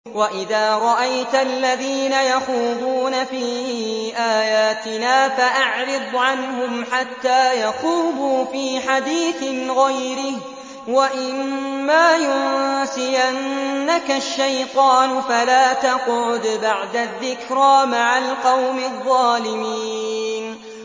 وَإِذَا رَأَيْتَ الَّذِينَ يَخُوضُونَ فِي آيَاتِنَا فَأَعْرِضْ عَنْهُمْ حَتَّىٰ يَخُوضُوا فِي حَدِيثٍ غَيْرِهِ ۚ وَإِمَّا يُنسِيَنَّكَ الشَّيْطَانُ فَلَا تَقْعُدْ بَعْدَ الذِّكْرَىٰ مَعَ الْقَوْمِ الظَّالِمِينَ